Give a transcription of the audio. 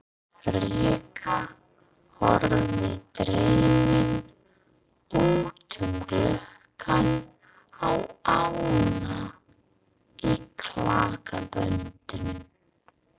Rikka horfði dreymin út um gluggann á ána í klakaböndum.